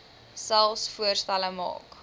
selfs voorstelle maak